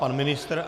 Pan ministr?